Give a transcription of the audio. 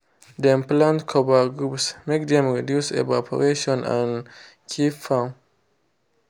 dem plant cover groups make dem reduce evarporation and keep farm.